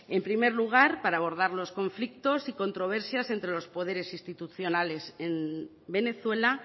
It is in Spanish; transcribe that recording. en primer lugar para abordar los conflicto y controversias entre los poderes institucionales en venezuela